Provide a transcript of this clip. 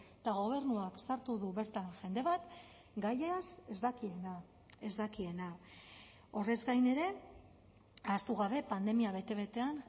eta gobernuak sartu du bertan jende bat gaiaz ez dakiena ez dakiena horrez gain ere ahaztu gabe pandemia bete betean